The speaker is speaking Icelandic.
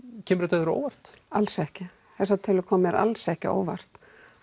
kemur þetta þér á óvart alls ekki þessar tölur koma mér alls ekki á óvart